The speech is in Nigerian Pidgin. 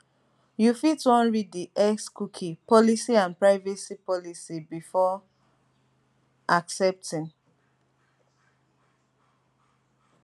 you fit wan read di xcookie policy and privacy policy before accepting